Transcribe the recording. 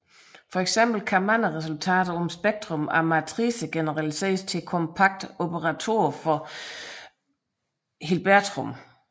For eksempel kan mange resultater om spektrum af matricer generaliseres til kompakte operatorer på Hilbertrum